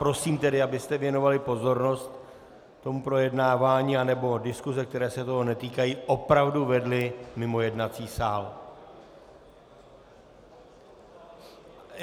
Prosím tedy, abyste věnovali pozornost tomu projednávání, anebo diskuse, které se toho netýkají, opravdu vedli mimo jednací sál...